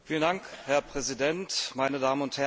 Herr Präsident, meine Damen und Herren!